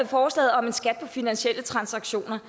forslaget om en skat på finansielle transaktioner